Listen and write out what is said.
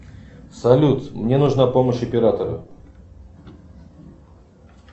салют мне нужна помощь оператора